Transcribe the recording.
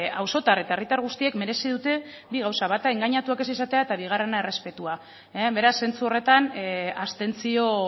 auzotar eta herritar guztiek merezi dute bi gauza bata engainatuak ez izatea eta bigarrena errespetua beraz zentzu horretan abstentzio